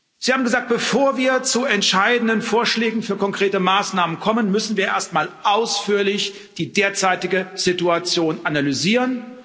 Sie haben gesagt Bevor wir zu entscheidenden Vorschlägen für konkrete Maßnahmen kommen, müssen wir erstmal ausführlich die derzeitige Situation analysieren.